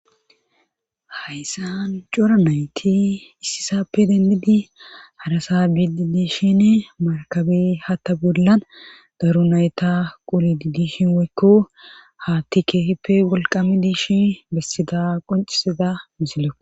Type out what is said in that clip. hayssan cora nayti issisappe dendidi harasa bidi diishine markabe hatta bollan daru nayta qoli didi hinwekko haattikke hippe wolqami diishi bessida qoncisida misile